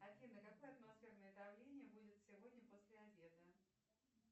афина какое атмосферное давление будет сегодня после обеда